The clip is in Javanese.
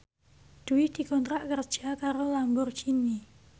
Dwi dikontrak kerja karo Lamborghini